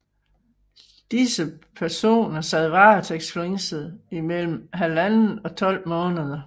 Disse personer sad varetægtsfængslet i mellem 1½ og 12 måneder